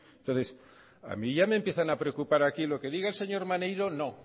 entonces a mí ya me empiezan a preocupar aquí lo que diga el señor maneiro no